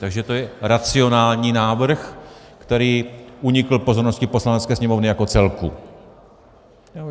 Takže to je racionální návrh, který unikl pozornosti Poslanecké sněmovny jako celku.